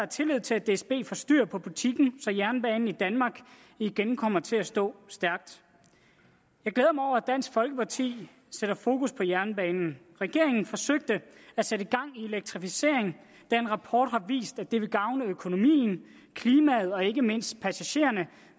tillid til at dsb får styr på butikken så jernbanen i danmark igen kommer til at stå stærkt jeg glæder mig over at dansk folkeparti sætter fokus på jernbanen regeringen forsøger at sætte gang i elektrificering da en rapport har vist at det vil gavne økonomien klimaet og ikke mindst passagererne